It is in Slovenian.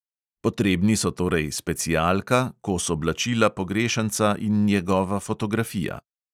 Potrebni so torej specialka, kos oblačila pogrešanca in njegova fotografija.